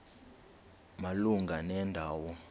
malunga nenda wo